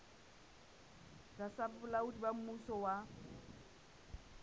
tlasa bolaodi ba mmuso wa